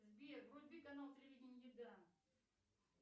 сбер вруби канал телевидение еда